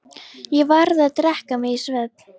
Ég varð að drekka mig í svefn.